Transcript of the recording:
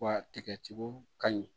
Wa tigɛtigiw ka ɲi